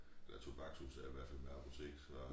Ja tobaksudsalg i hvert fald med apotek så